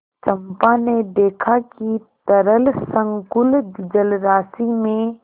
चंपा ने देखा कि तरल संकुल जलराशि में